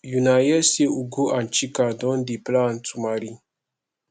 una hear say ugo and chika don dey plan to marry